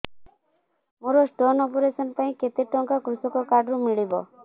ମୋର stone operation ପାଇଁ କେତେ ଟଙ୍କା କୃଷକ କାର୍ଡ ରୁ ମିଳିବ